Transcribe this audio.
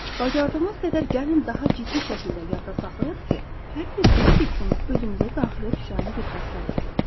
Bacardığımız qədər gəlin daha ciddi şəkildə yada saxlayaq ki, hər bir pis fikrin özümüzə daxilə düşən bir xəstəlikdir.